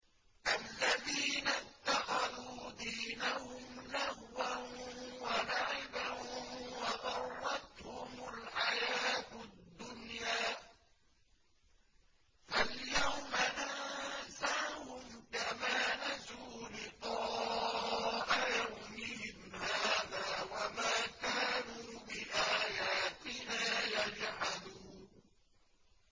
الَّذِينَ اتَّخَذُوا دِينَهُمْ لَهْوًا وَلَعِبًا وَغَرَّتْهُمُ الْحَيَاةُ الدُّنْيَا ۚ فَالْيَوْمَ نَنسَاهُمْ كَمَا نَسُوا لِقَاءَ يَوْمِهِمْ هَٰذَا وَمَا كَانُوا بِآيَاتِنَا يَجْحَدُونَ